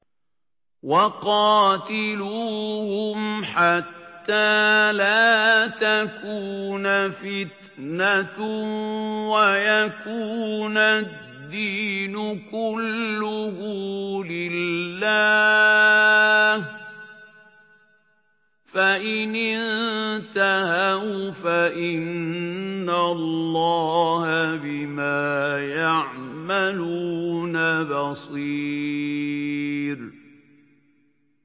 وَقَاتِلُوهُمْ حَتَّىٰ لَا تَكُونَ فِتْنَةٌ وَيَكُونَ الدِّينُ كُلُّهُ لِلَّهِ ۚ فَإِنِ انتَهَوْا فَإِنَّ اللَّهَ بِمَا يَعْمَلُونَ بَصِيرٌ